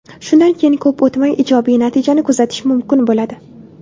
Shundan keyin ko‘p o‘tmay ijobiy natijani kuzatish mumkin bo‘ladi.